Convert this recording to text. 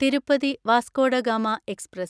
Tirupati Vasco da Gama express